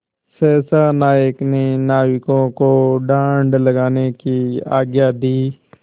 सहसा नायक ने नाविकों को डाँड लगाने की आज्ञा दी